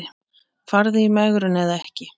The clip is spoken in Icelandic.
Farðu í megrun eða ekki.